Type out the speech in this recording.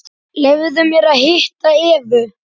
Leyfðu mér að hitta Evu.